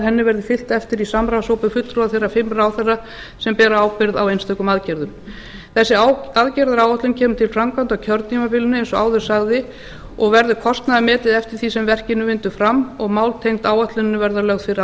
henni verði fylgt eftir í samráðshópi fulltrúa þeirra fimm ráðherra sem bera ábyrgð á einstökum aðgerðum þessi aðgerðaáætlun kemur til framkvæmda á kjörtímabilinu eins og áður sagði og verður kostnaðarmetin eftir því sem verkinu vindur fram og mál tengd áætluninni verða lögð fyrir